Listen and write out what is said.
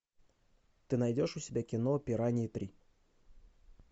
ты найдешь у себя кино пираньи три